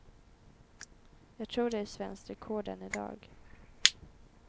Jag tror det är svenskt rekord än i dag.